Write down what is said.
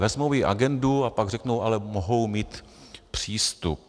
Vezmou jí agendu a pak řeknou: ale mohou mít přístup.